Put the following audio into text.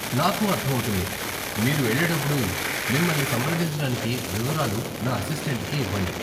నాకు అర్ధం అవుతుంది. మీరు వెళ్ళేటప్పుడు మిమ్మల్ని సంప్రదించటానికి వివరాలు నా అసిస్టెంట్కి ఇవ్వండి.